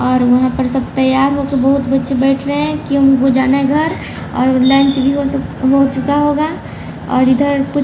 और वहां पर सब तैयार होके बहुत बच्चे बैठ रहे हैं कि हमको जाना है घर और लॉन्च हो चुका होगा और इधर--